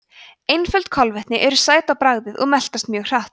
einföld kolvetni eru sæt á bragðið og meltast mjög hratt